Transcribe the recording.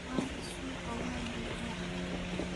Maanta suuqa waa buuxaa